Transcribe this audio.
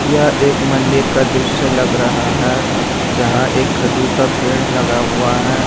यह एक मंदिर का दृश्य लग रहा है जहां यह खजूर का पेड़ लगा हुआ है।